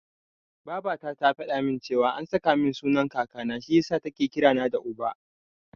Babata ta faɗa min cewa an saka min sunan Kakana, shi yasa take kira na da Uba.